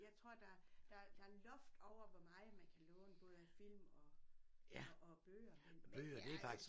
Jeg tror der der der loft over hvor meget man kan låne både af film og og og af bøger men det er jo